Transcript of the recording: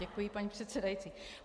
Děkuji, paní předsedající.